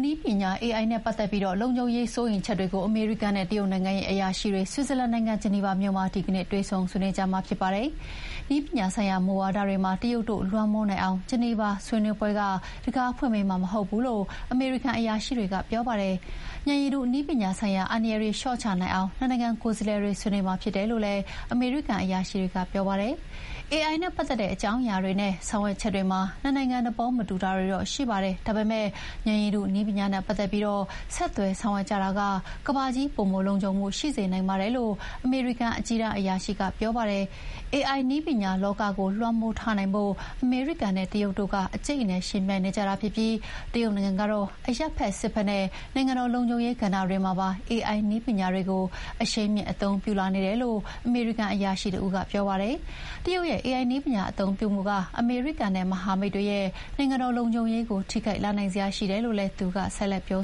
နည်းပညာ AI နဲ့ပတ်သက်ပြီးလုံခြုံရေးစိုးရိမ်ချက်တွေကို အမေရိကန်နဲ့တရုတ်နိုင်ငံအရာရှိတွေ ဆွစ်ဇာလန်နိုင်ငံ၊ ဂျနီဗာမြို့မှာ ဒီကနေ့ တွေ့ဆုံဆွေးနွေးကြမှာဖြစ်ပါတယ်။ နည်းပညာဆိုင်ရာမူဝါဒတွေမှာ တရုတ်တို့လွှမ်းမိုးနိုင်အောင် ဂျနီဗာမှာဆွေးနွေးပွဲက တံခါးဖွင့်ပေးမှာမဟုတ်ဘူးလို့ အမေရိကန်အရာရှိတွေက ပြောပါတယ်။ ဉာဏ်ရည်တုနည်းပညာဆိုင်ရာအန္တရာယ်တွေလျှော့ချနိုင်အောင် နှစ်နိုင်ငံကိုယ်စားလှယ်တွေဆွေးနွေးမှာဖြစ်တယ်လို့ အမေရိကန်အရာရှိတွေက ပြောပါတယ်။ 'AI နဲ့ပတ်သက်တဲ့ အကြောင်းအရာတွေနဲ့ ဆောင်ရွက်ချက်တွေမှာ နှစ်နိုင်ငံသဘောမတူတာတွေတော့ရှိပါတယ်။ ဒါပေမဲ့ ဉာဏ်ရည်တုနည်းပညာနဲ့ပတ်သက်ပြီး ဆက်သွယ်ဆောင်ရွက်ကြတာက ကမ္ဘာကြီး ပိုမိုလုံခြုံမှုရှိစေနိုင်ပါတယ်' လို့ အမေရိကန်အကြီးတန်းအရာရှိကပြောပါတယ်။ AI နည်းပညာလောကကို လွှမ်းမိုးထားနိုင်ဖို့ အမေရိကန်နဲ့တရုတ်တို့ အကြိတ်အနယ်ယှဥ်ပြိုင်နေကြတာဖြစ်ပြီး တရုတ်နိုင်ငံကတော့ အရပ်ဖက်၊ စစ်ဖက်နဲ့ နိုင်ငံတော်လုံခြုံရေးကဏ္ဍတွေမှာပါ AI နည်းပညာတွေကို အရှိန်မြှင့် အသုံးပြုလာနေတယ်လို့ အမေရိကန်အရာရှိတဦးက ပြောပါတယ်။ တရုတ်ရဲ့ AI နည်းပညာအသုံးပြုမှုက အမေရိကန်နဲ့ မဟာမိတ်တွေရဲ့ နိုင်ငံတော်လုံခြုံရေးကို ထိခိုက်လာနိုင်စရာရှိတယ်လို့လည်း သူကဆက်ပြော